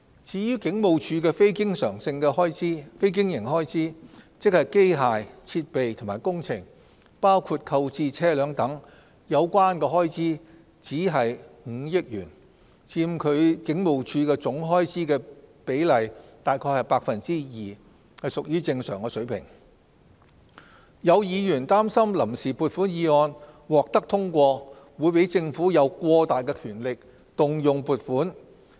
至於警務處的非經營開支，即機械、設備及工程有關的開支僅約5億元，佔警務處總開支的比例約 2%， 屬於正常水平。有議員擔心臨時撥款議案獲得通過，會讓政府有過大的權力動用撥款。